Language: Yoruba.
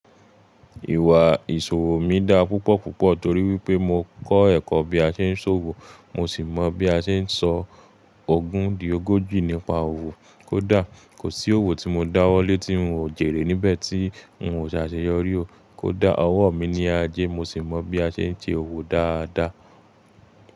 Ìwà ìṣòwò mi dá púpọ̀ púpọ̀ torí wípé mo kọ́ ẹ̀kọ́ bí a ṣe ń ṣòwò, mo sì mọ bí a ṣe ń sọ ogún di ogójì nípa òwò. Kódà kò sí òwò tí mo dáwọ́lé tí n ò jèrè níbẹ̀ tí n ò ṣe àṣeyọrí o. Kódà ọwọ́ mi ni aje mo sì mọ bí a ṣe ń ṣe òwò dáadáa.